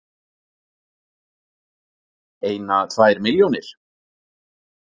Eina, tvær milljónir?